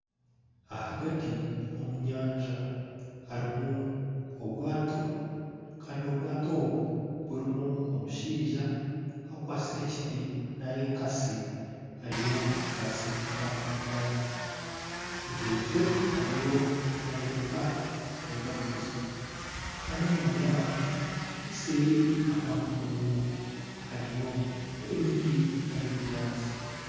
Ahagati omu nyanja harimu obwaato kandi obwaato obu burimu omushaija akwatsire ekiti nari ekatsi ariyo nastindiika eryaato mugyenzi we ariyo nayoreka ahibarikuza kandi enyima yaabo sheeri aha kungu ahariyo emiti nari ebinyaatsi.